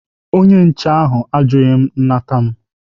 Onye nche ahụ ajụghị nnata m.